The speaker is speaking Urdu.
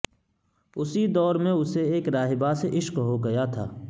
اسی دور میں اسے ایک راہبہ سے عشق ہو گیا تھا